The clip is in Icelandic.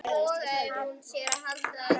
Þú veist hvað gerðist, er það ekki?